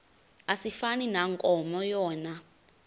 asifani nankomo yona